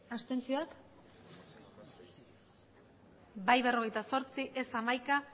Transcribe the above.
abstentzioak bai berrogeita zortzi ez hamaika